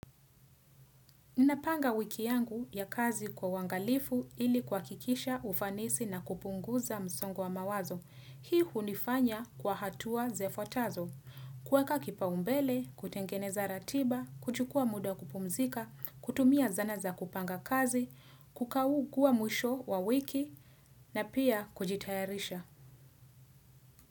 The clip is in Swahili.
Ninapanga wiki yangu ya kazi kwa uangalifu, ili kuhakikisha ufanisi na kupunguza msongo wa mawazo. Hii hunifanya kwa hatua zifuatazo. Kuweka kipa umbele, kutengeneza ratiba, kuchukua muda wa kupumzika, kutumia zana za kupanga kazi, kukaukwa mwisho wa wiki, na pia kujitayarisha.